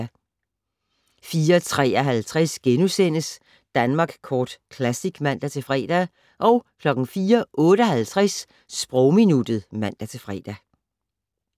04:53: Danmark Kort Classic *(man-fre) 04:58: Sprogminuttet (man-fre)